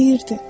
Deyirdi: